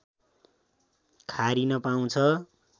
खारिन पाउँछ